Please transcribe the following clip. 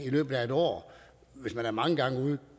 i løbet af et år er mange gange ude